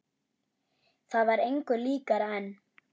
Það var engu líkara en